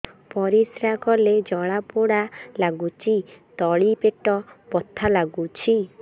ପରିଶ୍ରା କଲେ ଜଳା ପୋଡା ଲାଗୁଚି ତଳି ପେଟ ବଥା ଲାଗୁଛି